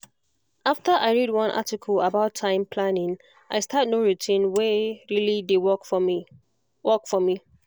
as i dey focus for each step wey i dey take when i waka e dey calm me and e dey make my mind settle